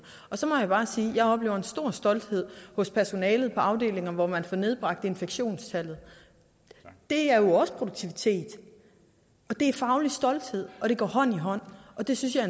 så må jeg bare sige at jeg oplever en stor stolthed hos personalet på afdelinger hvor man får nedbragt infektionstallet det er jo også produktivitet det er faglig stolthed og det går hånd i hånd det synes jeg